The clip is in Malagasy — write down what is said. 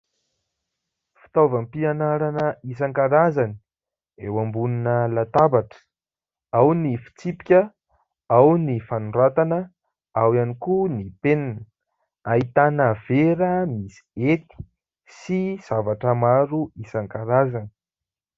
Fitaovam-pianarana isan-karazany eo ambonina latabatra ao ny fitsipika ao ny fanoratana ao ihany koa ny penina ahitana vera misy hety sy zavatra maro isan-karazany.